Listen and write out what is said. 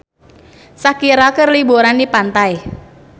Shakira keur liburan di pantai